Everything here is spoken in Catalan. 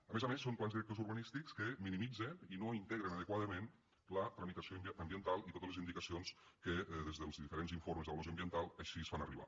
a més a més són plans directors urbanístics que minimitzen i no integren adequadament la tramitació ambiental i totes les indicacions que des dels diferents informes d’avaluació ambiental així es fan arribar